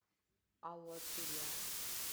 алатыря